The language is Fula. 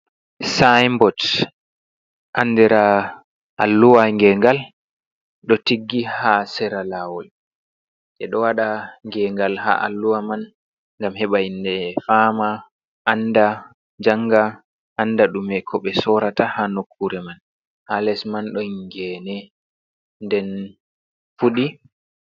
Sinbot andira alluwa gengal ɗo tiggi ha sera lawol je ɗo waɗa gengal ha alluwa man ngam heɓa himɓɓe fama, anda, janga, anda ɗume ko ɓe sorata ha nokure man, ha les man ɗon ngene nden fuɗi.